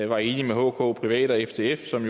var enig med hkprivat og ftf som